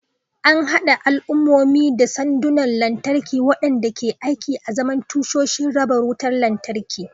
An haɗa al'ummomi da sandunan lantarki, waɗanda ke aiki azaman tashoshin raba wutar lantarki.